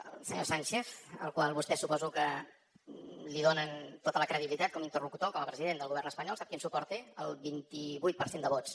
el senyor sánchez al qual vostès suposo que li donen tota la credibilitat com a interlocutor com a president del govern espanyol sap quin suport té el vint vuit per cent de vots